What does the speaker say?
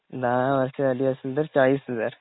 दहा जास्त हवे असतील तर चाळीस हजार.